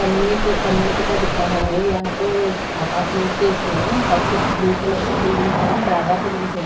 कम्युनिके community का दिख रहा है यहां तो अपार्टमेंटेस ही हैं सब कुछ ब्लू कलर का बिल्डिंग्स है ज्यादा बिल्डिंग्स हैं।